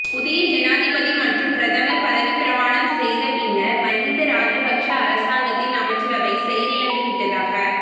புதிய ஜனாதிபதி மற்றும் பிரதமர் பதவிப்பிரமாணம் செய்த பின்னர் மகிந்த ராஜபக்ஷ அரசாங்கத்தின் அமைச்சரவை செயலிழந்து விட்டதாக